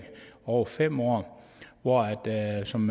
over fem år og som